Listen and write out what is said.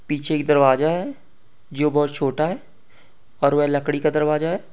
पीछे एक दरवाजा है जो बहुत छोटा है और वह लकड़ी का दरवाजा है।